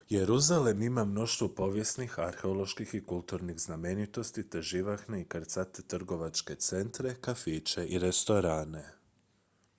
jeruzalem ima mnoštvo povijesnih arheoloških i kulturnih znamenitosti te živahne i krcate trgovačke centre kafiće i restorane